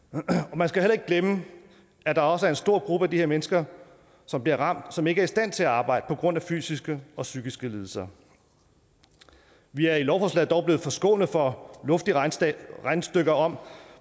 man skal heller ikke glemme at der også er en stor gruppe af de her mennesker der bliver ramt som ikke er i stand til at arbejde på grund af fysiske eller psykiske lidelser vi er i lovforslaget dog blevet forskånet for luftige regnestykker om